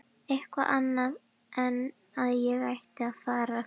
Eitthvað annað en að ég ætti að fara.